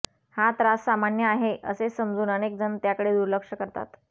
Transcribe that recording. हा त्रास सामान्य आहे असे समजून अनेकजण त्याकडे दुर्लक्ष करतात